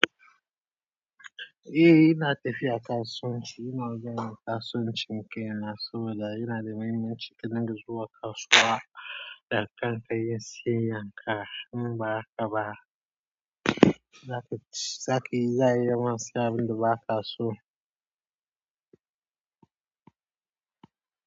Eh, ina tafiya kasuwanci. Ina zuwa nayi kasuwancin kaina saboda ai yana da mahimmanci ka dinga zuwa kasuwa da kanka kayi siyayyanka. In ba haka ba, za ka ci zaka za'a yi ma siyan abin da ba ka so.